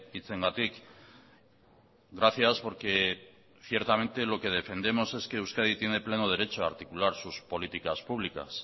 hitzengatik gracias porque ciertamente lo que defendemos es que euskadi tiene pleno derecho a articular sus políticas públicas